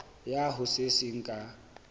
ya ho se seng ka